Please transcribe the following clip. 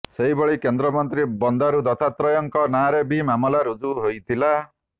ସେହିଭଳି କେନ୍ଦ୍ରମନ୍ତ୍ରୀ ବନ୍ଦାରୁ ଦତ୍ତାତ୍ରୟଙ୍କ ନାଁରେ ବି ମାମଲା ରୁଜ୍ଜୁ ହୋଇଥିଲା